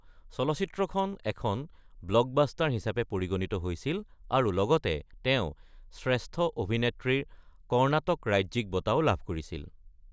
চলচ্চিত্ৰখন এখন ব্লকবাষ্টাৰ হিচাপে পৰিগণিত হৈছিল আৰু লগতে তেওঁ শ্ৰেষ্ঠ অভিনেত্ৰীৰ কৰ্ণাটক ৰাজ্যিক বঁটাও লাভ কৰিছিল।